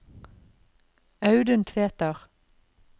Audun Tveter